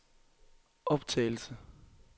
optagelse